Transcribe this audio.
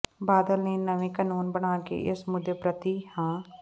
ਬਾਦਲ ਨੇ ਨਵੇਂ ਕਾਨੂੰਨ ਬਣਾ ਕੇ ਇਸ ਮੁੱਦੇ ਪ੍ਰਤੀ ਹਾਂ